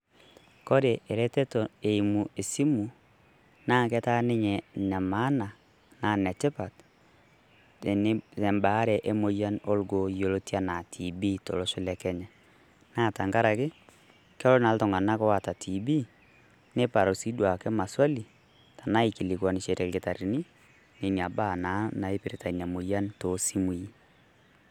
Kore eretoto eimu e simu naa ketaa ninye ne maana naa netipaat te baare e moyian orgoo yiolotia anaa TB tolosho le Kenya. Naa tang'araki kelo na ltung'anak oata TB nepaaru sii duake maaswali tanaa akilikwanisharie lkitarini nenia baa naa naipirita enia moyian to simui.